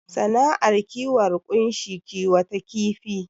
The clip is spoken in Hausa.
Sana'ar kiwon ƙunshi kiwata kifi